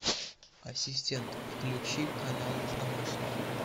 ассистент включи канал домашний